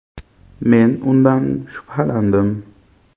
Men undan shubhalandim.